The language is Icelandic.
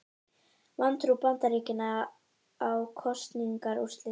Vantrú Bandaríkjanna á kosningaúrslit